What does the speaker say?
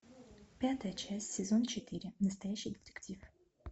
пятая часть сезон четыре настоящий детектив